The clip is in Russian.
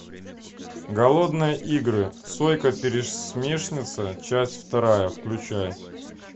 голодные игры сойка пересмешница часть вторая включай